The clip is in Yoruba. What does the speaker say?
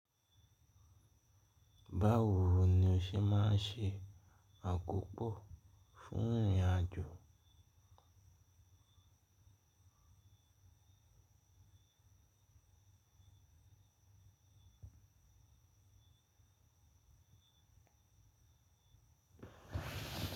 Báwo ni o ṣe máa ń ṣe àkópò fún ìrìnàjò?